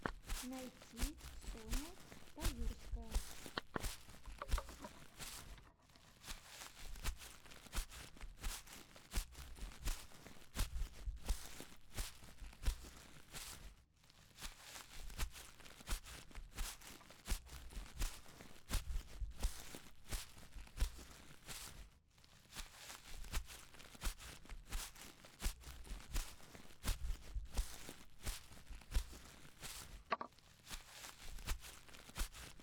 найти соня таюрская